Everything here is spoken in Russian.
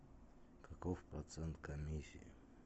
каков процент комиссии